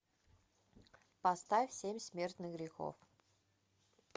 поставь семь смертных грехов